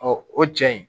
o cɛ in